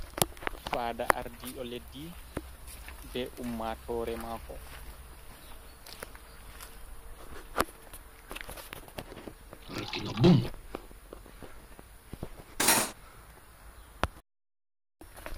Fada ardiɗo leddi be ummatore mako.